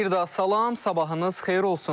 Bir daha salam, sabahınız xeyir olsun.